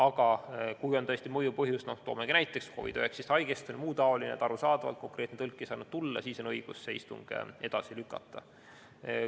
Aga kui on tõesti mõjuv põhjus – no toomegi näiteks COVID-19 haigestunu või muu taolise põhjuse, arusaadavalt konkreetne tõlk ei saanud tulla –, siis on õigus istung edasi lükata.